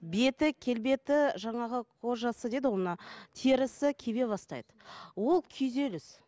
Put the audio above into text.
беті келбеті жаңағы кожасы деді ғой мына терісі кебе бастайды ол күйзеліс